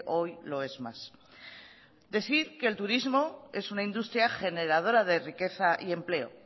hoy lo es más decir que el turismo es una industria generadora de riqueza y empleo